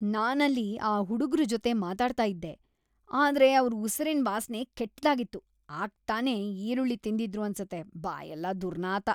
ನಾನಲ್ಲಿ ಆ ಹುಡುಗ್ರು ಜೊತೆ ಮಾತಾಡ್ತಾ ಇದ್ದೆ, ಆದ್ರೆ ಅವ್ರ್‌ ಉಸಿರಿನ್ ವಾಸ್ನೆ‌ ಕೆಟ್ದಾಗಿತ್ತು.. ಆಗ್ತಾನೇ ಈರುಳ್ಳಿ ತಿಂದಿದ್ರು ಅನ್ಸತ್ತೆ.. ಬಾಯೆಲ್ಲ ದುರ್ನಾತ.